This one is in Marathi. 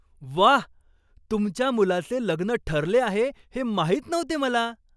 व्वा! तुमच्या मुलाचे लग्न ठरले आहे हे माहीत नव्हते मला!